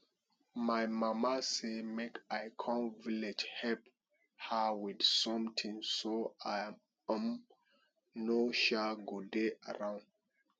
my mama say make i come village help her with something so i um no um go dey around